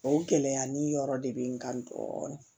O gɛlɛya nin yɔrɔ de bɛ n kan dɔɔnin